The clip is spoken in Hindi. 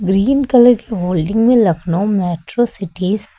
ग्रीन कलर की होल्डिंग में लखनऊ मेट्रो सिटीज ।